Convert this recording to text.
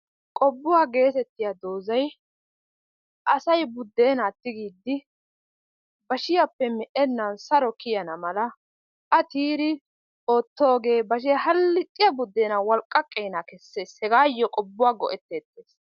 Qobbuwaa gnettetiyaa dozay asay buddena tigiidi bashshiyaappe me"enaan saro kiyaana mala a tiyiidi ootoogee bashshee hallixxiya buddeenaa walqaqeena kesees hegaayo qobbuwaa go"ettetees.